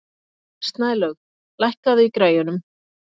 Snælaug, lækkaðu í græjunum.